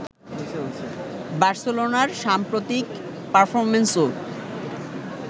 বার্সেলোনার সাম্প্রতিক পারফরম্যান্সও